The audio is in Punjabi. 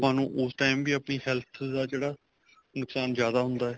ਨੂੰ ਉਸ time ਵੀ ਆਪਣੀ health ਦਾ ਜਿਹੜਾ ਨੁਕਸ਼ਾਨ ਜਿਆਦਾ ਹੁੰਦਾ ਏ